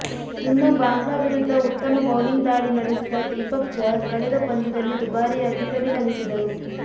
ಇನ್ನು ಬಾಂಗ್ಲಾ ವಿರುದ್ಧ ಉತ್ತಮ ಬೌಲಿಂಗ್ ದಾಳಿ ನಡೆಸಿದ ದೀಪಕ್ ಚಹರ್ ಕಳೆದ ಪಂದ್ಯದಲ್ಲಿ ದುಬಾರಿಯಾಗಿ ಪರಿಣಮಿಸಿದರು